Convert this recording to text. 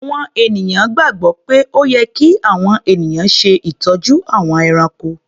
Àwọn ènìyàn gbàgbọ́ pé ó yẹ kí àwọn ènìyàn ṣe ìtọ́jú àwọn ẹranko.